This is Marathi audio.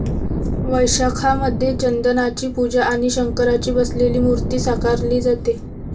वैशाखामध्ये चंदनाची पूजा आणि शंकराची बसलेली मूर्ती साकारली जाते.